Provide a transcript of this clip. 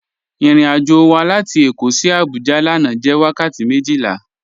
Irìn-àjọ́ wà látì Èkó sí Àbújá lànà jẹ́ wakàtí mejila.